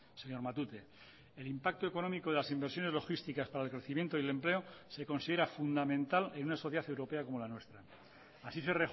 señor matute el impacto económico de las inversiones logísticas para el crecimiento y el empleo se considera fundamental en una sociedad europea como la nuestra así se